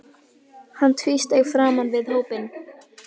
Hann tvísteig framan við hópinn.